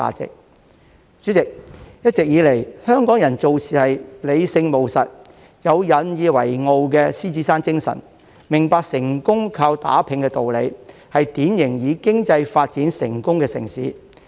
代理主席，一直以來，香港人做事理性務實，有引以為傲的獅子山精神，明白成功靠打拚的道理，是典型以經濟發展成功的城市。